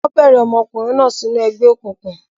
Wọ́n bẹ̀rẹ̀ ọmọkùnrin náà sínú ẹgbẹ́ òkùnkùn.